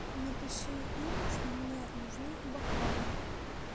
напиши им что мне нужны бокалы